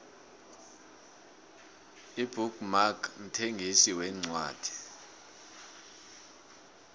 ibook mark mthengisi wencwadi